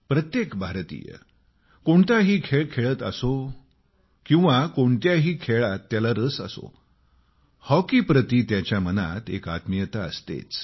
प्रत्येक भारतीय कोणताही खेळ खेळत असो किंवा कोणत्याही खेळत त्याला रस असो हॉकी प्रती त्याच्या मनात एक आत्मीयता असतेच